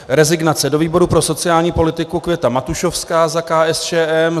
Rezignace: Do výboru pro sociální politiku Květa Matušovská za KSČM.